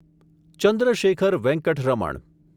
Chandrashekhar Venkat Raman